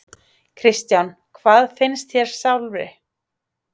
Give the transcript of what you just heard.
Kristján: Hvað finnst þér sjálfri?